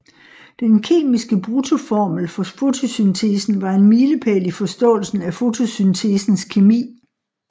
Den kemiske bruttoformel for fotosyntesen var en milepæl i forståelsen af fotosyntesens kemi